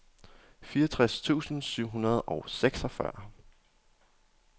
fireogtres tusind syv hundrede og seksogfyrre